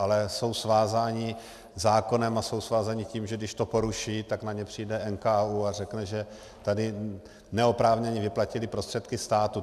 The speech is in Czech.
Ale jsou svázáni zákonem a jsou svázáni tím, že když to poruší, tak na ně přijde NKÚ a řekne, že tady neoprávněně vyplatili prostředky státu.